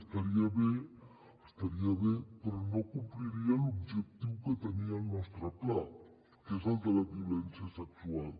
estaria bé estaria bé però no compliria l’objectiu que tenia el nostre pla que és el de la violència sexual